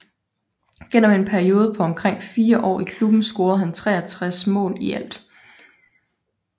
Gennem en periode på omkring fire år i klubben scorede han 63 mål i alt